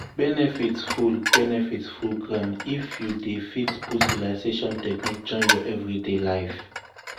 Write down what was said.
benefit full benefit full ground if you dey fit put relaxation technique join your everyday life.